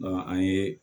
an ye